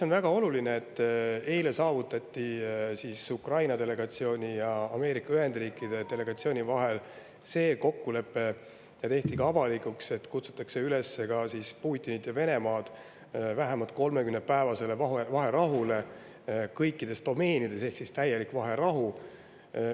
On väga oluline, et eile saavutati Ukraina delegatsiooni ja Ameerika Ühendriikide delegatsiooni vahel see kokkulepe, mis tehti ka avalikuks, et kutsutakse Putinit ja Venemaad üles vähemalt 30‑päevasele vaherahule kõikides domeenides, see oleks siis täielik vaherahu.